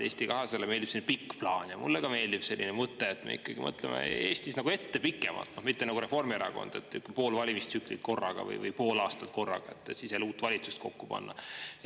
Eesti 200-le meeldib pikk plaan ja mulle ka meeldib selline mõte, et me ikkagi mõtleme Eestis ette pikemalt, mitte nagu Reformierakond, et pool valimistsüklit korraga või pool aastat korraga, et siis jälle uut valitsust kokku panna.